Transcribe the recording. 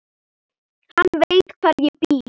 Hann veit hvar ég bý.